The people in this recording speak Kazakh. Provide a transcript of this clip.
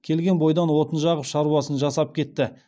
келген бойдан отын жағып шаруасын жасап кетті